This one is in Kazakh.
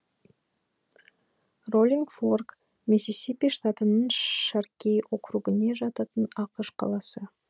роллинг форк миссисипи штатының шаркей округіне жататын ақш қаласы